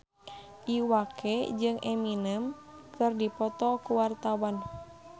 Iwa K jeung Eminem keur dipoto ku wartawan